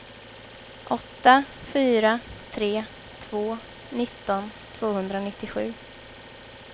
åtta fyra tre två nitton tvåhundranittiosju